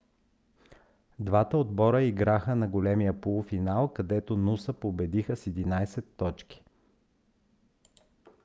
двата отбора играха на големия полуфинал където нуса победиха с 11 точки